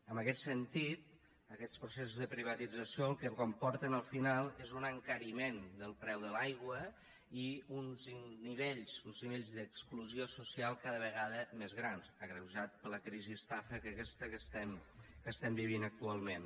en aquest sentit aquests processos de privatització el que comporten al final és un encariment del preu de l’aigua i uns nivells d’exclusió social cada vegada més grans agreujats per la crisi estafa aquesta que estem vivint actualment